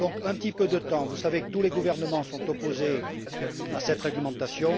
Donc, il faut un peu de temps. Vous savez que tous les gouvernements sont opposés à cette réglementation.